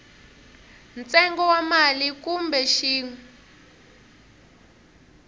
ntsengo wa mali kumbe xin